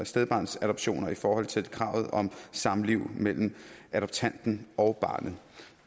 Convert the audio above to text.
stedbarnsadoptioner i forhold til kravet om samliv mellem adoptanten og barnet